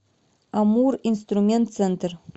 амуринструментцентр